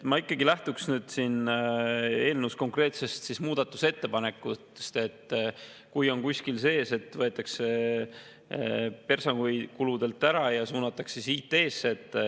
Ma ikkagi lähtuks eelnõu konkreetsetest muudatusettepanekutest, kui oleks kuskil sees, et võetakse raha personalikuludest ära ja suunatakse IT-sse.